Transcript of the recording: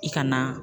I ka na